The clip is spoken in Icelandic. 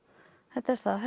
þetta er það